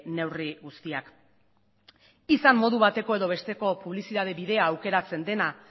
neurri guztiak izan modu bateko edo besteko publizitate bidea aukeratzen dena